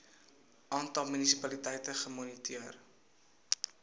aantal munisipaliteite gemoniteer